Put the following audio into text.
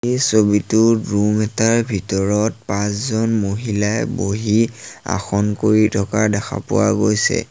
এই ছবিটোৰ ৰুম এটাৰ ভিতৰত পাঁচজন মহিলাই বহি আসন কৰি থকা দেখা পোৱা গৈছে।